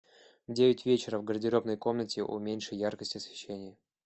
в девять вечера в гардеробной комнате уменьши яркость освещения